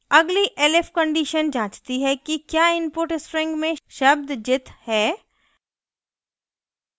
अगली elif condition जाँचती है कि the input string में शब्द jit है